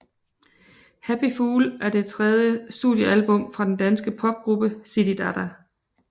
Happy Fool er det tredje studiealbum fra den danske popgruppe Zididada